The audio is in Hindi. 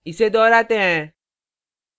इसे दोहराते हैं